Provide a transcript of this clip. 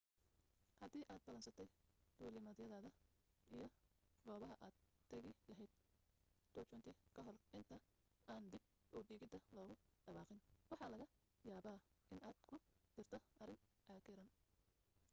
hadii aad ballansatay duulimadyadaada iyo goobaha aad dagi lahayd 2020 kahor inta aan dib udhigida lagu dhawaaqin waxaa laga yaaba in aad ku jirto arrin cakiran